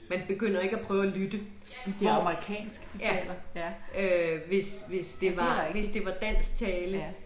Man begynder ikke at prøve og lytte. Hvor, ja. Øh hvis hvis det var hvis det var dansk tale